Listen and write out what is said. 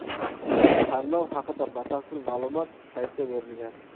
Tanlov haqida batafsil ma’lumot saytda berilgan.